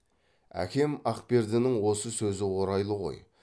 әкем ақпердінің осы сөзі орайлы ғой